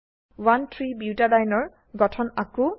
13 বুটাডিয়েনে এৰ গঠন আঁকো